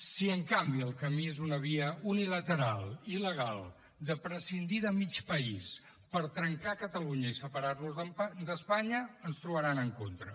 si en canvi el camí és una via unilateral i il·legal de prescindir de mig país per trencar catalunya i separar nos d’espanya ens hi trobaran en contra